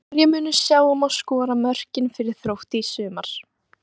Hverjir munu sjá um að skora mörkin fyrir Þrótt í sumar?